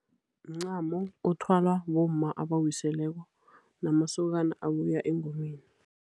Mncamo othwalwa bomma abawiseleko namasokana abuya engomeni.